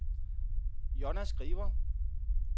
Jonna Skriver